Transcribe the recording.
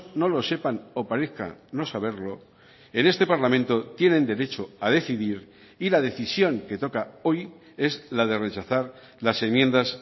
no lo sepan o parezcan no saberlo en este parlamento tienen derecho a decidir y la decisión que toca hoy es la de rechazar las enmiendas